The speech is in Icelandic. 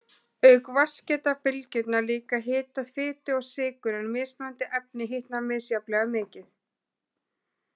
Auk vatns geta bylgjurnar líka hitað fitu og sykur en mismunandi efni hitna misjafnlega mikið.